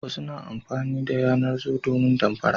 Wasu matanen na amfani da yanar-zo domin damfara.